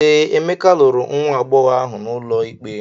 Ee, Emeka lụrụ nwa agbọghọ ahụ n’ụlọ ikpe.